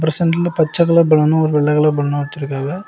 சென்டர்ல பச்சை colour balloon ஒரு வெள்ள கலர் பலூனு வெச்சிருக்காவ.